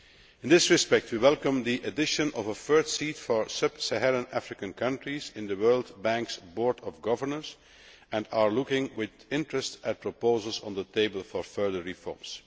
In this respect, we welcome the addition of a third seat for sub Saharan African countries on the World Bank's Board of Governors, and are looking with interest at proposals on the table for further reforms.